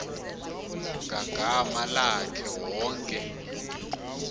ngagama lakhe wonke